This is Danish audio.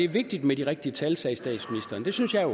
vigtigt med de rigtige tal sagde statsministeren det synes jeg